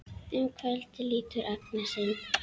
Um kvöldið lítur Agnes inn.